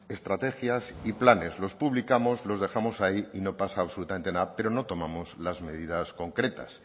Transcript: estrategias y planes los publicamos los dejamos ahí y no pasa absolutamente nada pero no tomamos las medidas concretas